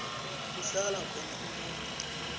kuhlala khona umuntu